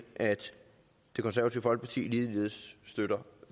at det konservative folkeparti ligeledes støtter